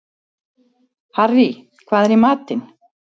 Harrý, hvað er í matinn?